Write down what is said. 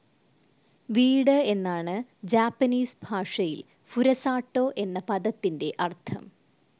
വീട് എന്നാണ് ജാപ്പനീസ് ഭാഷയിൽ ഫുരസാട്ടോ എന്ന പദത്തിൻ്റെ അർത്ഥം.